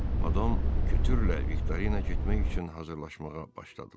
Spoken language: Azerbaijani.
Madam Kütürlə Viktorina getmək üçün hazırlaşmağa başladılar.